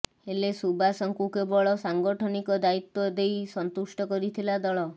ହେଲେ ସୁବାସଙ୍କୁ କେବଳ ସାଙ୍ଗଠନିକ ଦାୟିତ୍ୱ ଦେଇ ସନ୍ତୁଷ୍ଟ କରିଥିଲା ଦଳ